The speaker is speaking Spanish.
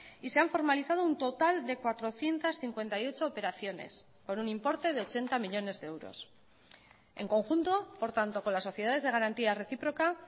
y se han formalizado un total de cuatrocientos cincuenta y ocho operaciones por un importe de ochenta millónes de euros en conjunto por tanto con las sociedades de garantía recíproca